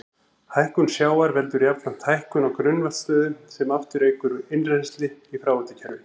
Hækkun sjávar veldur jafnframt hækkun á grunnvatnsstöðu sem aftur eykur innrennsli í fráveitukerfi.